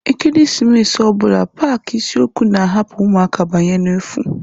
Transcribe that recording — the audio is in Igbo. Ekeresimesi ọ bụla paaki isiokwu na-ahapu ụmụaka banye n'efu.